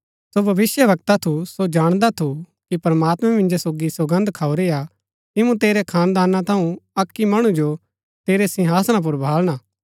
सो भविष्‍यवक्ता थू सो जाणदा थु कि प्रमात्मैं मिन्जो सोगी सौगन्द खाऊरी हा कि मूँ तेरै खानदाना थऊँ अक्की मणु जो तेरै सिंहासना पुर बहालना